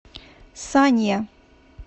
санья